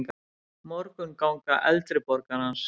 Morgunganga eldri borgarans.